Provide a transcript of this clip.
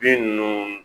Bin ninnu